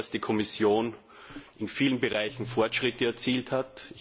Ich glaube, dass die Kommission in vielen Bereichen Fortschritte erzielt hat.